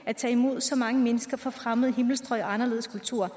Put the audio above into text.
at tage imod så mange mennesker fra fremmede himmelstrøg og anderledes kulturer